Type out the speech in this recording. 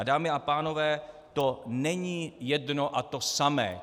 A dámy a pánové, to není jedno a to samé.